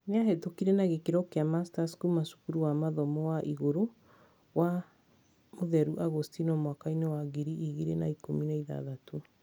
Nĩahĩtũkire na gĩkĩro kĩa Masters kuma cukuru wa mathomo ma igũrũ wa St Augustine mwaka-inĩ wa ngiri igĩrĩ na ikũmi na ithathatũ